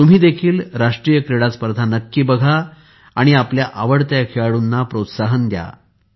तुम्ही देखील राष्ट्रीय क्रीडा स्पर्धा नक्की बघा आणि आपल्या आवडत्या खेळाडूला प्रोत्साहन द्या